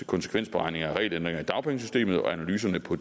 konsekvensberegninger af regelændringer i dagpengesystemet og analyserne på